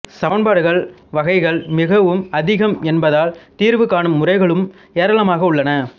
சமன்பாடுகள் வகைகள் மிகவும் அதிகம் என்பதால் தீர்வுகாணும் முறைகளும் ஏராளமாக உள்ளன